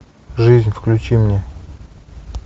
жизнь включи мне